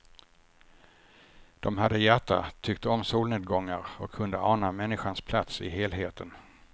De hade hjärta, tyckte om solnedgångar och kunde ana människans plats i helheten.